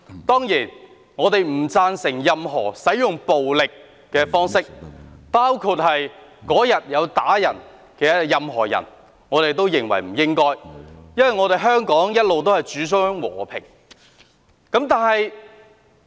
當然，我們不贊成任何訴諸暴力的做法，包括當天毆打別人的任何人，我們認為他們不應該這樣，因為香港一向主張和平。